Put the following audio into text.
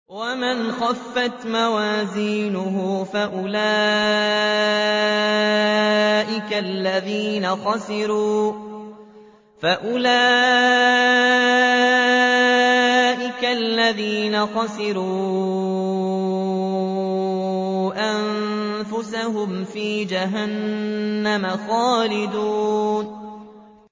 وَمَنْ خَفَّتْ مَوَازِينُهُ فَأُولَٰئِكَ الَّذِينَ خَسِرُوا أَنفُسَهُمْ فِي جَهَنَّمَ خَالِدُونَ